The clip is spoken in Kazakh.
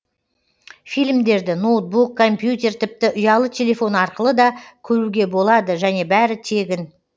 фильмдерді ноутбук компьютер тіпті ұялы телефон арқылы да көруге болады және бәрі тегін